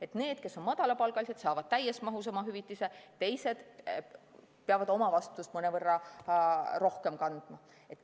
Et need, kes on madalapalgalised, saavad täies mahus oma hüvitise, teised peavad omavastutust mõnevõrra rohkem kandma.